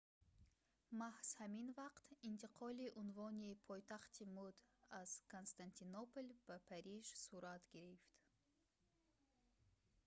маҳз ҳамин вақт интиқоли унвони пойтахти мӯд аз константинопол ба париж сурат гирифт